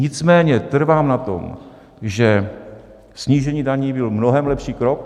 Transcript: Nicméně trvám na tom, že snížení daní byl mnohem lepší krok.